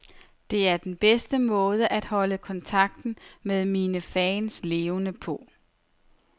Det er den bedste måde at holde kontakten med mine fans levende på.